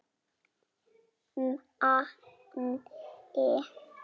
Manni líður stórum betur.